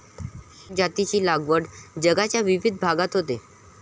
या जातींची लागवड जगाच्या विविध भागात होते.